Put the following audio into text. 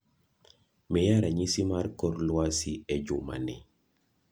miya ranyisi mar kor lwasi e juma ni